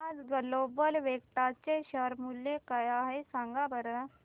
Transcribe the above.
आज Global Vectra चे share मूल्य काय आहे सांगा बरं